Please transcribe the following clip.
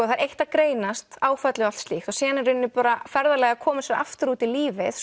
það er eitt að greinast áfallið og allt slíkt síðan í rauninni bara ferðalagið að koma sér aftur út í lífið